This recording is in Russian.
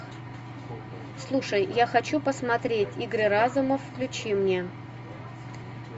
слушай я хочу посмотреть игры разума включи мне